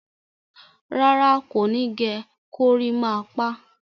Rárá, kò ní gẹ gorímápá.